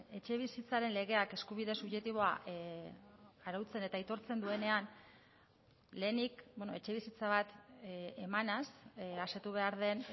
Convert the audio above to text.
etxebizitzaren legeak eskubide subjektiboa arautzen eta aitortzen duenean lehenik etxebizitza bat emanez asetu behar den